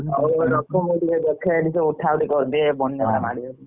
ହଉ ତାହେଲେ ରଖ ମୁଁ ଦେଖେ ଏଠି କଣ ଉଠା ଉଠି କରିଦିଅ ବନ୍ୟା ଟା ମାଡି ଆଉଛି।